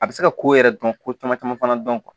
A bɛ se ka ko yɛrɛ dɔn ko caman caman fana dɔn